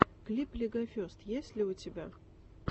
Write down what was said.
клип легофест есть ли у тебя